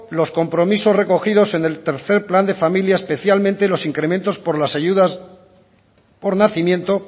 los compromisos recogidos en el tercer plan de familia especialmente los incrementos por las ayudas por nacimiento